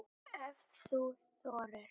Ef þú þorir!